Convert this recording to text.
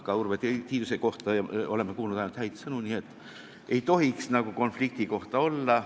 Ka Urve Tiiduse kohta oleme kuulnud ainult häid sõnu, nii et ei tohiks konfliktiohtu olla.